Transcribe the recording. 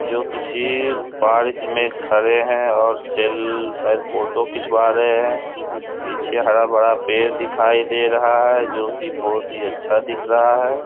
जो किसी पार्क में खड़े हैं और सेल शायद फोटो खिंचवा रहे हैं पीछे हरा-भरा पेड़ दिखाई दे रहा है जो कि बहुत ही अच्छा दिख रहा है ।